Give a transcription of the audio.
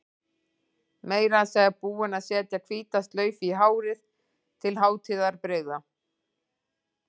Meira að segja búin að setja hvíta slaufu í hárið til hátíðarbrigða.